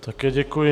Také děkuji.